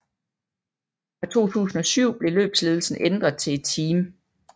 Fra 2007 blev løbsledelsen ændret til et team